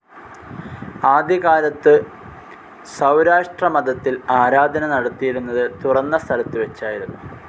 ആദ്യകാലത്തു സൗരാഷ്ട്രമതത്തിൽ ആരാധന നടത്തിയിരുന്നത് തുറന്ന സ്ഥലത്തു വെച്ചായിരുന്നു